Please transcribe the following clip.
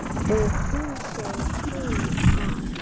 Og hún segir honum það.